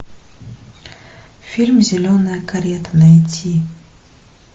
фильм зеленая карета найти